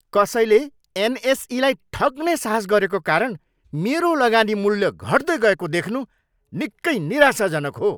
कसैले एनएसईलाई ठग्ने साहस गरेको कारण मेरो लगानी मूल्य घट्दै गएको देख्नु निकै निराशाजनक हो।